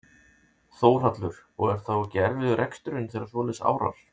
Þórhallur: Og er þá ekki erfiður reksturinn þegar svoleiðis árar?